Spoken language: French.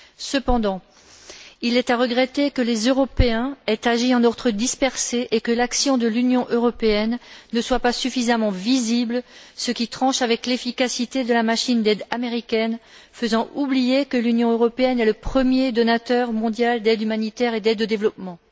Cependant, il est à regretter que les Européens aient agi en ordre dispersé et que l'action de l'Union européenne ne soit pas suffisamment visible, ce qui tranche avec l'efficacité de la machine d'aide américaine et fait oublier que l'Union européenne est le premier donateur mondial d'aide humanitaire et d'aide au développement.